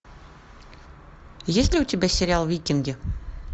есть ли у тебя сериал викинги